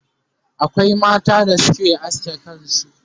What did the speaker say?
akwai mata da Suke aske kansu